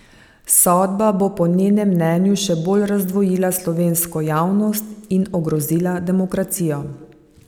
Sodba bo po njenem mnenju še bolj razdvojila slovensko javnost in ogrozila demokracijo.